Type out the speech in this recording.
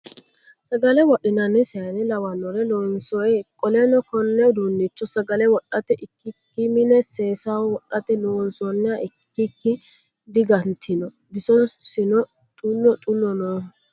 Sagale wodhinanni sayiine lawannore loonsoyi. Qoleno konne uduunnicho sagale wodhate ikkikki mine seesaho wodhate loonsonniha ikkikki digantino. bisosino xullo xullo nooho.